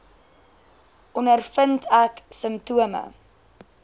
ondervind ek simptome